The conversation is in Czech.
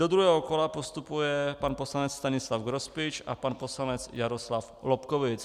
Do druhého kola postupuje pan poslanec Stanislav Grospič a pan poslanec Jaroslav Lobkowicz.